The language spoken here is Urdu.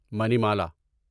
منیمالا